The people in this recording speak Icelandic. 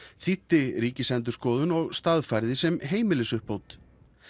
þýddi Ríkisendurskoðun og staðfærði sem heimilisuppbót